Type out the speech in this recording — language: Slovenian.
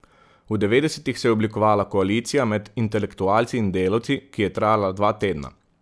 V devetdesetih se je oblikovala koalicija med intelektualci in delavci, ki je trajala dva tedna.